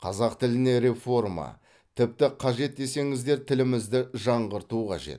қазақ тіліне реформа тіпті қажет десеңіздер тілімізді жаңғырту қажет